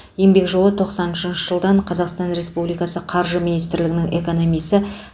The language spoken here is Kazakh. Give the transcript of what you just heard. еңбек жолы тоқсан үшінші жылдан қазақстан республикасы қаржы министрлігінің экономисі